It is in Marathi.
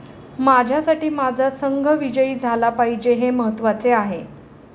माझ्यासाठी माझा संघ विजयी झाला पाहिजे हे महत्त्वाचे आहे.